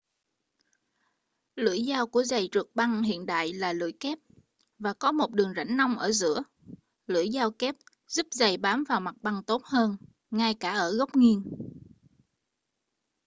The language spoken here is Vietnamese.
lưỡi dao của giầy trượt băng hiện đại là lưỡi kép và có một đường rãnh nông ở giữa lưỡi dao kép giúp giầy bám vào mặt băng tốt hơn ngay cả ở góc nghiêng